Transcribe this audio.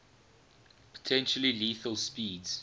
potentially lethal speeds